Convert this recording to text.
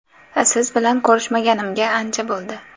Siz bilan ko‘rishmaganimga ancha bo‘ldi.